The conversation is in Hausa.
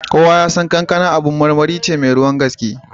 Kowa ya san kankan abar marmari ce mai ruwan gaske.